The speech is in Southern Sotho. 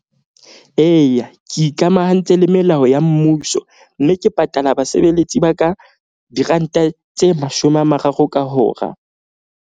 Eya, ke ikamahantse le melao ya mmuso. Mme ke patala basebeletsi ba ka diranta tse mashome a mararo ka hora.